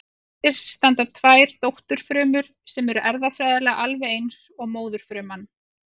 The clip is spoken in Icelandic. Eftir standa tvær dótturfrumur sem eru erfðafræðilega alveg eins og móðurfruman.